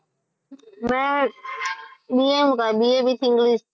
મેં BA કર્યું. BA with english